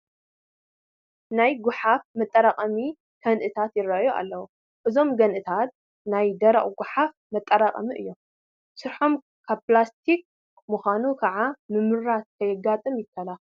ናይ ጐሓፍ መጠራቐሚ ከንእታት ይርአዩ ኣለዉ፡፡ እዞም ገንእታት ናይ ደረቕ ጐሓፍ መጠራቐሚ እዮም፡፡ ስርሓቶም ካብ ፕላስቲክ ብምዃኑ ከዓ ምምራት ከየጋጥም ይከላኸል፡፡